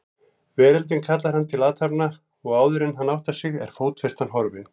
Veröldin kallar hann til athafna og áðuren hann áttar sig er fótfestan horfin.